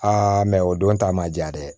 mɛ o don ta ma diya dɛ